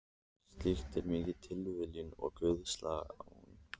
Slíkt er mikil tilviljun og guðslán.